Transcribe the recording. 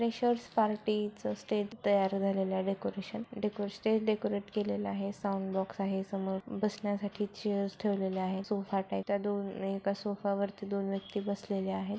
'' Freshers party च stage तयार झालेल आहे डेकोरेशन स्टेज डेकोरेट केलेल आहे साऊंड बॉक्स आहे समोर बसण्यासाठी चेअर्स ठेवलेल्या आहेत सोफा दोन एका सोफावरती दोन व्यक्ति बसलेले आहे. ''